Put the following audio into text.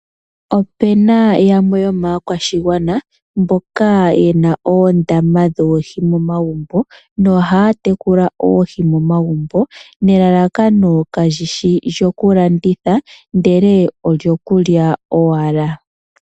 Opuna yamwe yomaakwashigwana mbyoka yena oondama dhoohi momagumbo nelalakano kali shi lyokulandulitha ndele olyo kulya owala.